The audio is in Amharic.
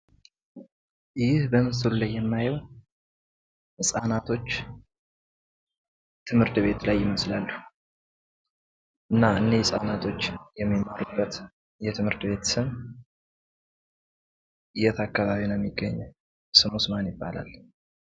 ይህ በምስሉ ላይ የማየው ህጻናቶች ትምህርት ቤት ላይ ይመስላሉ። እና እነዚህ ህጻናቶች የሚማሩበት የትምህርት ቤት ስም የት አካባቢ ነው የሚገኘው? ስሙስ ማን ይባላል?